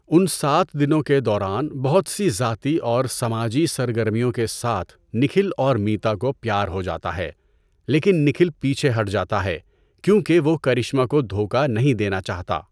ان سات دنوں کے دوران بہت سی ذاتی اور سماجی سرگرمیوں کے ساتھ نکھل اور میتا کو پیار ہو جاتا ہے، لیکن نکھل پیچھے ہٹ جاتا ہے کیونکہ وہ کرشمہ کو دھوکہ نہیں دینا چاہتا۔